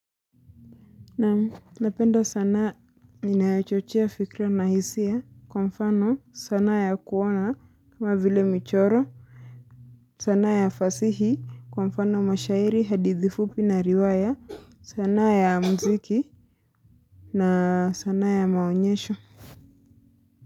Naamu, napenda sanaa ninayochochea fikra na hisia kwa mfano sanaa ya kuona kama vile michoro sanaa ya fasihi kwa mfano mashairi hadithi fupi na riwaya sanaa ya muziki na sanaa ya maonyesho.